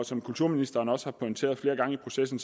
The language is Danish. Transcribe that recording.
som kulturministeren også har pointeret flere gange i processen